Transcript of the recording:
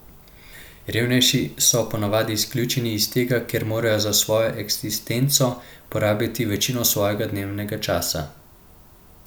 Revnejši so po navadi izključeni iz tega, ker morajo za svojo eksistenco porabiti večino svojega dnevnega časa.